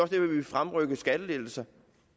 vi vil fremrykke de skattelettelser